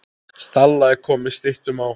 Stalla er komið styttum á.